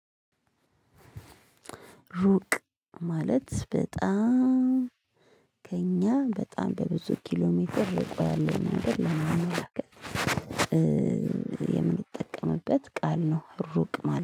ሩቅ ማለት በጣም ከእኛ በጣም በብዙ ኪሎ ሜትር ርቆ ያለውን መንገድ ለማመላከት የምንጠቀምበት ቃል ነው። ሩቅ ማለት